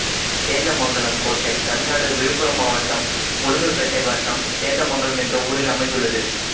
சேந்தமங்கலம் கோட்டை தமிழ்நாடு விழுப்புரம் மாவட்டம் உளுந்தூர்ப்பேட்டை வட்டம் சேந்தமங்கலம் என்ற ஊரில் அமைந்துள்ளது